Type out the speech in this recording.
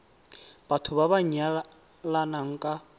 batho ba ba nyalanang ka